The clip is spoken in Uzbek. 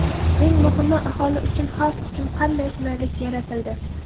Eng muhimi, aholi uchun, xalq uchun qanday qulaylik yaratildi?